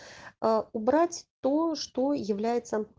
убрать то что является